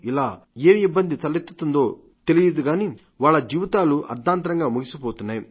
ఇలా ఏం ఇబ్బంది తలెత్తుతుందో గానీ వాళ్ల దీవితాలు అర్థాంతరంగా ముగిసిపోతున్నాయి